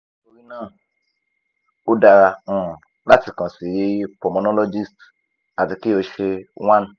nitorina o dara um lati kan si pulmonologist ati ki o ṣe one